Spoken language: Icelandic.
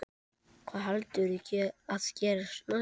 Hvað heldurðu að gerist næst?